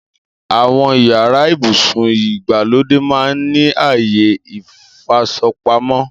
Àwọn yàrá ibùsùn ìgbàlódé máa ń ní àyè ìfasọpamọ́